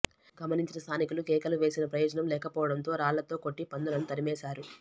గమనించిన స్థానికులు కేకలు వేసిన ప్రయోజనం లేకపోవడంతో రాళ్లతో కొట్టి పందులను తరిమేశారు